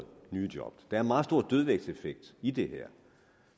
nye job der er meget stor dødvægtseffekt i det her